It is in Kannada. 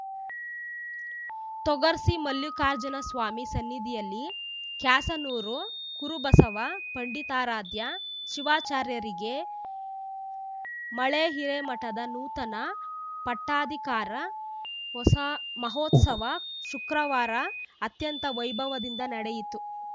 ತೊಗರ್ಸಿ ಮಲ್ಲಿಕಾರ್ಜುನ ಸ್ವಾಮಿ ಸನ್ನಿಧಿಯಲ್ಲಿ ಕ್ಯಾಸನೂರು ಗುರುಬಸವ ಪಂಡಿತಾರಾಧ್ಯ ಶಿವಾಚಾರ್ಯರಿಗೆ ಮಳೇಹಿರೇಮಠದ ನೂತನ ಪಟ್ಟಾಧಿಕಾರ ಹೊಸ ಮಹೋತ್ಸವ ಶುಕ್ರವಾರ ಅತ್ಯಂತ ವೈಭವದಿಂದ ನಡೆಯಿತು